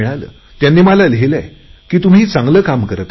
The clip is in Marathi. त्यांनी मला लिहिलेय की तुम्ही चांगले काम करत आहात